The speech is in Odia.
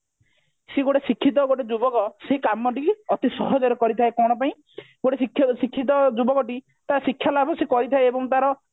ସିଏ ଗୋଟେ ଶିକ୍ଷିତ ଗୋଟେ ଯୁବକ ସେ କାମଟିକି ଅତି ସହଜରେ କରିଥାଏ କଣ ପାଇଁ ଗୋଟେ ଶିକ୍ଷିତ ଶିକ୍ଷିତ ଯୁବକଟି ତା ଶିକ୍ଷା ଲାଭ ସେ କରିଥାଏ ଏବଂ ତାର